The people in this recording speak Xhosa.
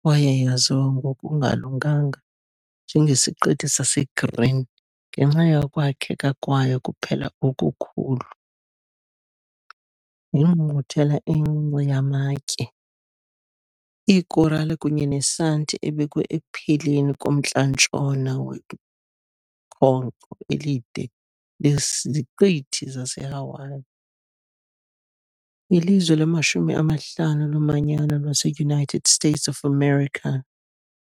kwaye yaziwa ngokungalunganga njengeSiqithi saseGreen ngenxa yokwakheka kwayo kuphela okukhulu, yingqungquthela encinci yamatye, iikorale kunye nesanti ebekwe ekupheleni komntla-ntshona wekhonkco elide leziqithi zaseHawaii, ilizwe lamashumi amahlanu lomanyano lwaseUnited States of America.